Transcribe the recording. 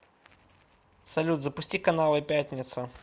салют запусти каналы пятница